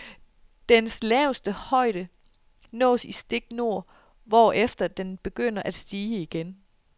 Dens laveste højde nås i stik nord, hvorefter den begynder at stige igen.